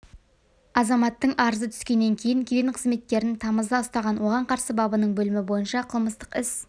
азаматтың арызы түскеннен кейін кеден қызметкерін тамызда ұстаған оған қарсы бабының бөлімі бойынша қылмыстық іс